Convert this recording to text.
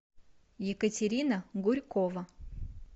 екатерина гурькова